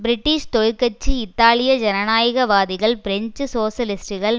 British தொழிற்கட்சி இத்தாலிய ஜனநாயக வாதிகள் பிரெஞ்சு சோசலிஸ்ட்டுக்கள்